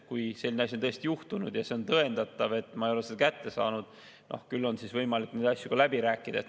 Kui selline asi on tõesti juhtunud ja on tõendatav, et teadet pole kätte saadud, küll siis on võimalik neid asju läbi rääkida.